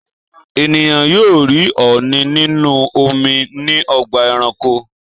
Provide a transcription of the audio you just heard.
Ènìyàn yóò rí ọ̀ọ̀nì nínú omi ní ọgbà-ẹranko.